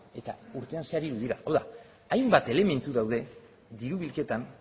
eta urtean zehar hiru dira hau da hainbat elementu daude diru bilketan